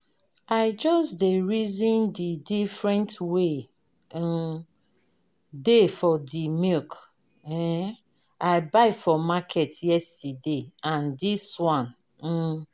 I just dey reason de different wey um dey for de milk um I buy for market yesterday and this one. um